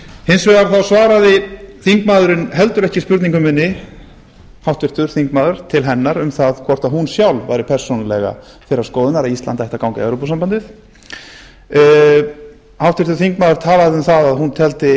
hins vegar þá svaraði háttvirtur þingmaður heldur ekki spurningu minni hvort hún sjálf væri persónulega þeirrar skoðunar að íslendingar ættu að ganga í evrópusambandið háttvirtur þingmaður talaði um að hún teldi